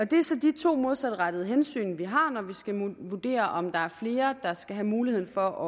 det er så de to modsatrettede hensyn vi har når vi skal vurdere om der er flere der skal have mulighed for